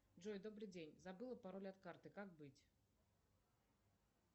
джой добрый день забыла пароль от карты как быть